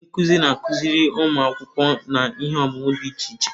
Ndị nkuzi na-akụziri ụmụ akwụkwọ n'ihe ọmụmụ dị iche iche.